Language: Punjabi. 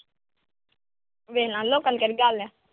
ਵੇਖ ਲੈਣ ਦੋ ਲੋਕਾਂ ਨੂੰ ਕਿਹੜੀ ਗੱਲ ਆ।